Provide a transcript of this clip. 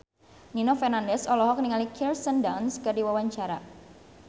Nino Fernandez olohok ningali Kirsten Dunst keur diwawancara